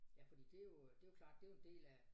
Ja fordi det jo øh det jo klart det jo en del af